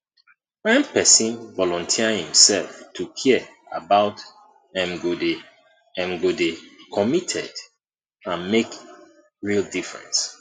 when pesin volunteer imself to care about em go dey em go dey committed and make real difference